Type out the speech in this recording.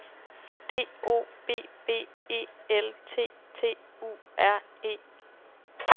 D O B B E L T T U R E